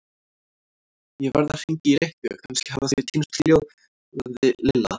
Ég verð að hringja í Rikku, kannski hafa þau týnst hljóðaði Lilla.